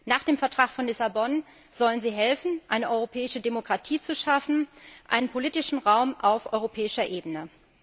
Nach dem Vertrag von Lissabon sollen sie helfen, eine europäische Demokratie zu schaffen, einen politischen Raum auf europäischer Ebene.